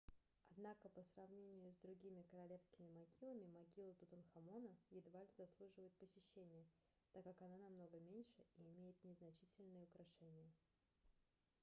однако по сравнению с другими королевскими могилами могила тутанхамона едва ли заслуживает посещения так как она намного меньше и имеет незначительные украшения